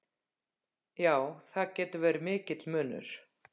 Já, það getur verið mikill munur.